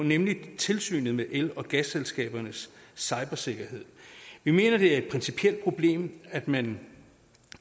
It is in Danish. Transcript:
nemlig tilsynet med el og gasselskabernes cybersikkerhed vi mener det er et principielt problem at man